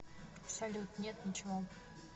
салют нет ничего